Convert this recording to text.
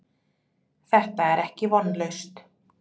Þetta er ekki vonlaust.